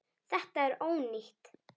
Þetta er ónýtt.